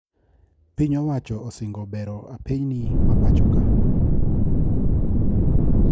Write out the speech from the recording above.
Piny owacho osingo bero apeyni mapoachoka